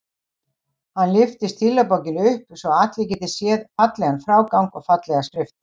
Hann lyftir stílabókinni upp svo að allir geti séð fallegan frágang og fallega skrift.